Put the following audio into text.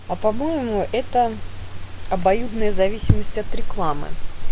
а по-моему это обоюдная зависимость от рекламы